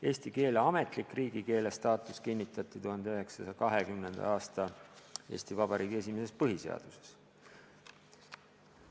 Eesti keele ametlik riigikeele staatus kinnitati 1920. aasta Eesti Vabariigi esimeses põhiseaduses.